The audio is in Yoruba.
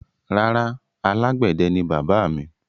Rárá, alágbẹ̀dẹ ni bàbáà mi.